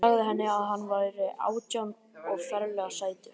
Ég sagði henni að hann væri átján og ferlega sætur.